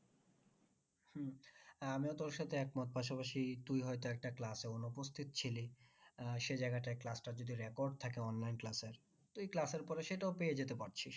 আমিও তোর সাথে এক মত পাশাপাশি তুই হয়তো একটা class এ অনুপস্থিত ছিলি আহ সে জায়গাটায় class টা যদি record থাকে online class এ তুই class এর পরে সেটাও পেয়ে যেতে পারছিস।